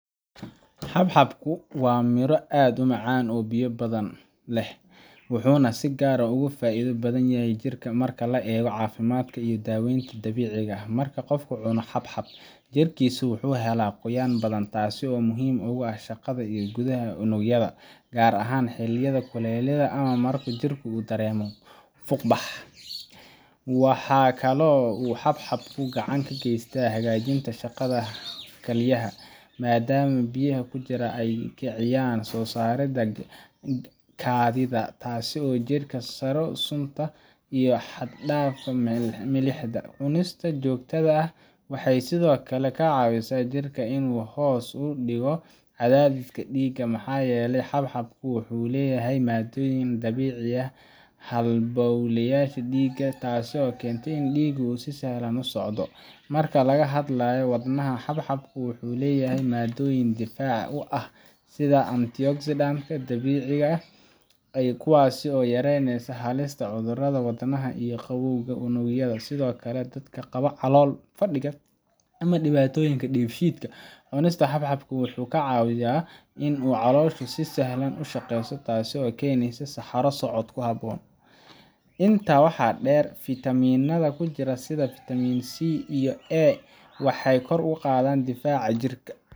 Xabxabku waa miro aad u macaan oo biyo badan leh, wuxuuna si gaar ah uga faa’iido badan yahay jirka marka la eego caafimaadka iyo daaweynta dabiiciga ah. Marka qofku cuno xabxab, jirkiisu wuxuu helaa qoyaan badan, taasoo aad muhiim ugu ah shaqada gudaha ee unugyada, gaar ahaan xilliyada kulaylaha ama marka jirku uu dareemayo fuuqbax. Waxaa kaloo uu xabxabku gacan ka geystaa hagaajinta shaqada kalyaha, maadaama biyaha ku jira ay kicinayaan soo saaridda kaadida, taasoo jirka ka saarta sunta iyo xad-dhaafka milixda. Cunistiisa joogtada ah waxay sidoo kale ka caawisaa jirka in uu hoos u dhigo cadaadiska dhiigga, maxaa yeelay xabxabku wuxuu leeyahay maaddooyin dabciya halbowlayaasha dhiigga, taasoo keenta in dhiiggu si sahlan u socdo. Marka laga hadlayo wadnaha, xabxabku wuxuu leeyahay maaddooyin difaac u ah, sida antioxidants-ka dabiiciga ah, kuwaasoo yareeya halista cudurrada wadnaha iyo gabowga unugyada. Sidoo kale, dadka qaba calool fadhiga ama dhibaatooyinka dheefshiidka, cunista xabxabku waxay ka caawisaa in calooshu si sahlan u shaqeyso, taasoo keenaysa saxaro socod habboon. Intaa waxaa dheer, fiitamiinnada ku jira sida fiitamiin C iyo A waxay kor u qaadaan difaaca jirka,